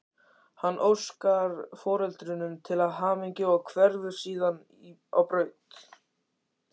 Hann óskar foreldrunum til hamingju og hverfur síðan á braut.